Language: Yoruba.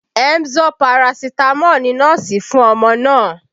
Emzor Paracetamol ni nọ́ọ̀sì fún ọmọ náà